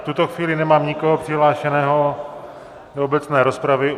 V tuto chvíli nemám nikoho přihlášeného do obecné rozpravy.